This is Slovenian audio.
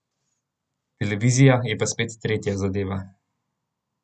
Televizija je pa spet tretja zadeva.